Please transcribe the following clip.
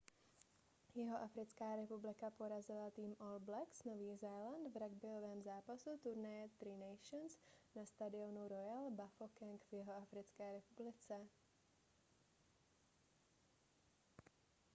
jihoafrická republika porazila tým all blacks nový zéland v ragbyovém zápasu turnaje tri nations na stadionu royal bafokeng v jihoafrické republice